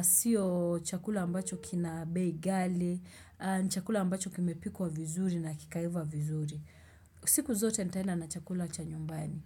sio chakula ambacho kina bei ghali Chakula ambacho kimepikwa vizuri na kikaiva vizuri siku zote nitaenda na chakula cha nyumbani.